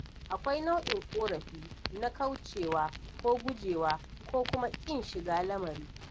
Akwai nau'in ƙorafi na ƙauracewa ko gujewa ko kuma ƙin shiga lamari.